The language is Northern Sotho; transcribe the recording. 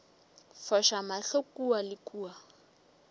foša mahlo kua le kua